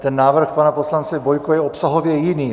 Ten návrh pana poslance Bojko je obsahově jiný.